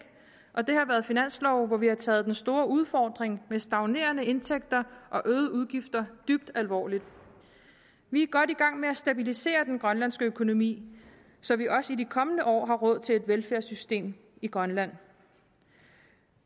og det har været finanslove hvor vi har taget den store udfordring med stagnerende indtægter og øgede udgifter dybt alvorligt vi er godt i gang med at stabilisere den grønlandske økonomi så vi også i de kommende år har råd til et velfærdssystem i grønland